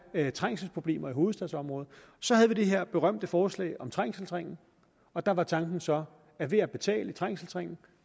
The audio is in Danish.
er trængselsproblemer i hovedstadsområdet så havde vi det her berømte forslag om trængselsringen og der var tanken så at ved at betale i trængselsringen